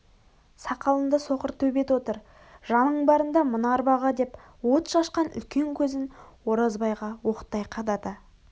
сақалынды соқыр төбет отыр жаның барында мына арбаға деп от шашқан үлкен көзін оразбайға оқтай қадады